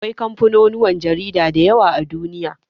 Akwai kamfanonuwan jarida da yawa a Duniya.